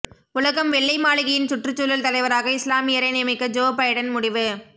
உலகம் வெள்ளை மாளிகையின் சுற்றுச்சூழல் தலைவராக இஸ்லாமியரை நியமிக்க ஜோ பைடன் முடிவு